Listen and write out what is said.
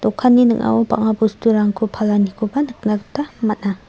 dokanni ning·ao bang·a bosturangko palanikoba nikna gita man·a.